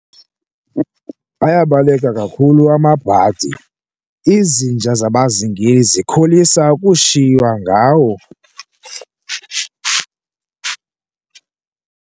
Ayabaleka kakhulu amabhadi, izinja zabazingeli zikholisa ukushiywa ngawo.